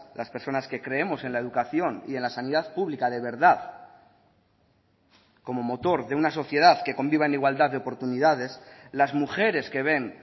las personas que creemos en la educación y en la sanidad pública de verdad como motor de una sociedad que conviva en igualdad de oportunidades las mujeres que ven